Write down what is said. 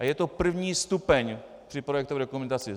A je to první stupeň při projektové dokumentaci.